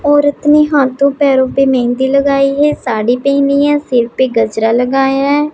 औरतने हाथों पैरों पे मेहंदी लगाई हैं साड़ी पहनी हैं सिर पे गजरा लगाया हैं।